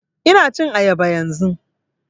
Ina cin ayaba yanzun